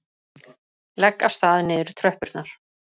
Legg af stað niður tröppurnar.